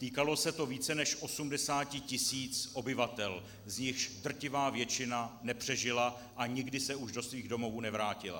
Týkalo se to více než 80 tisíc obyvatel, z nichž drtivá většina nepřežila a nikdy se už do svých domovů nevrátila.